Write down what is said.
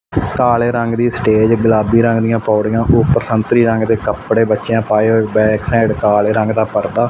ਕਾਲੇ ਰੰਗ ਦੀ ਸਟੇਜ ਗੁਲਾਬੀ ਰੰਗ ਦੀਆਂ ਪੌੜੀਆਂ ਉਪਰ ਸੰਤਰੀ ਰੰਗ ਦੇ ਕੱਪੜੇ ਬੱਚਿਆਂ ਪਾਏ ਹੋਏ ਬੈਗ ਸਾਈਡ ਕਾਲੇ ਰੰਗ ਦਾ ਪਰਦਾ--